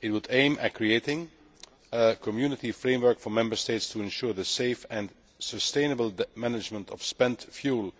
It would aim at creating a Community framework for Member States to ensure the safe and sustainable management of spent fuel